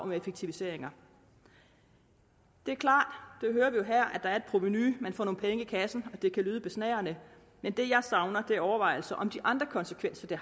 effektiviseringer det er klart det hører vi jo her at er et provenu at man får nogle penge i kassen og det kan lyde besnærende men det jeg savner er overvejelser om de andre konsekvenser